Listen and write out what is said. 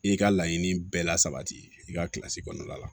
I ka laɲiniini bɛɛ la sabati i ka kilasi kɔnɔna la